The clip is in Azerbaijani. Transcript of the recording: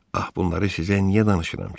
Ax bunları sizə niyə danışıram ki?